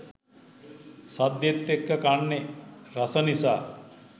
සද්දෙත් එක්ක කන්නෙ රස නිසා